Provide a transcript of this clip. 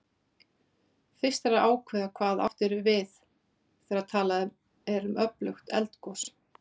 Fyrst þarf að ákveða hvað átt er við þegar talað er um öflugt eldgos.